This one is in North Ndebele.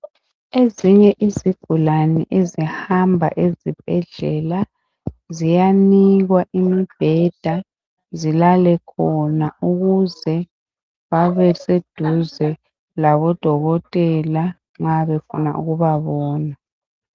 Ezinye izigulane ezihamba ezibhedlela ziyanikwa imibheda zilale khona ukuze babe seduze labodokotela nxa befuna ukubabona.